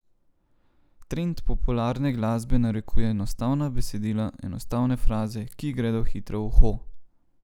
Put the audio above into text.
Trend popularne glasbe narekuje enostavna besedila, enostavne fraze, ki gredo hitro v uho.